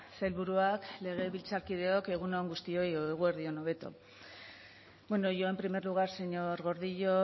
sailburuak legebiltzarkideok egun on guztioi edo eguerdi on hobeto bueno yo en primer lugar señor gordillo